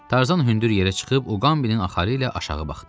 Tarzan hündür yerə çıxıb Uqambinin axarı ilə aşağı baxdı.